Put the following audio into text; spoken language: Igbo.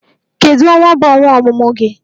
Kedu Ọnwa bu ọnwa ọmụmụ gị?